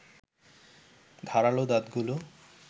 ধারালো দাঁতগুলো